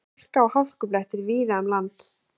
Hálka og hálkublettir víða um land